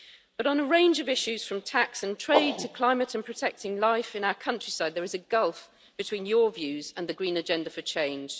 But on a range of issues, from tax and trade to climate and protecting life in our countryside, there is a gulf between your views and the green agenda for change.